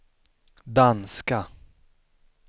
danska